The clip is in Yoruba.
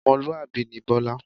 Ọmọlúwàbí ni Bọlá